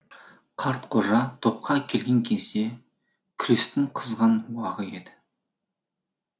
қартқожа топқа келген кезде күрестің қызған уағы еді